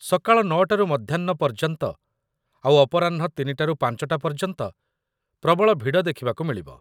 ସକାଳ ୯ଟାରୁ ମଧ୍ୟାହ୍ନ ପର୍ଯ୍ୟନ୍ତ ଆଉ ଅପରାହ୍ନ ୩ଟାରୁ ୫ଟା ପର୍ଯ୍ୟନ୍ତ ପ୍ରବଳ ଭିଡ଼ ଦେଖିବାକୁ ମିଳିବ ।